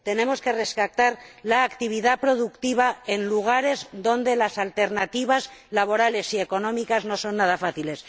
tenemos que rescatar la actividad productiva en lugares donde las alternativas laborales y económicas no son nada fáciles